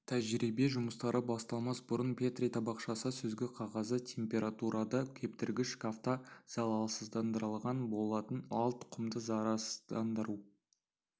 тәжірибе жұмыстары басталмас бұрын петри табақшасы сүзгі қағазы температурада кептіргіш шкафта залалсыздандырылған болатын ал тұқымды зарарсыздандыру